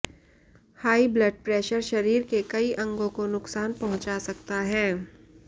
high blood pressure शरीर के कई अंगों को नुकसान पहुंचा सकता है